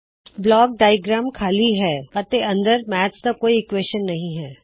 block diagram ਖਾੱਲੀ ਹੈ ਅਤੇ ਅੰਦਰ ਕੋਈ ਗਣਿਤ ਦਾ ਸਮੀਕਰਨ ਨਹੀ ਹੈ